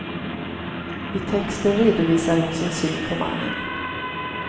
I texten redovisar hon sin syn på mannen.